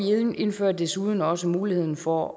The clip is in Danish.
indfører desuden også muligheden for